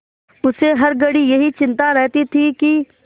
उसे हर घड़ी यही चिंता रहती थी कि